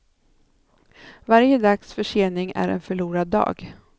Varje dags försening är en förlorad dag.